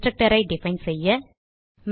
constructorஐ define செய்ய